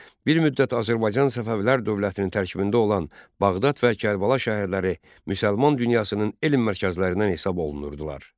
Bir müddət Azərbaycan Səfəvilər dövlətinin tərkibində olan Bağdad və Kərbəla şəhərləri müsəlman dünyasının elm mərkəzlərindən hesab olunurdular.